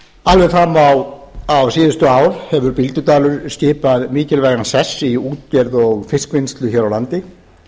alveg fram á síðustu ár hefur bíldudalur skipað mikilvægan sess í útgerð og fiskvinnslu hér á landi